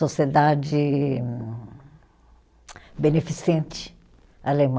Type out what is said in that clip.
Sociedade beneficente alemã.